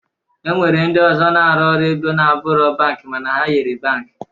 E nwere ndị ọzọ na-arụ ọrụ ego na-abụrọ bankị mana ha yiri bankị